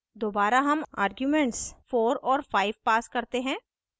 दोबारा हम आर्ग्यूमेंट्स 4 और 5 pass करते हैं